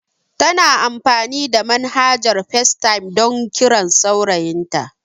Tana amfani da manhajar FaceTime don kiran saurayin ta